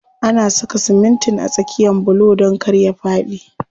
Ana saka simitin a tsakiyan bulo don kar ya faɗi.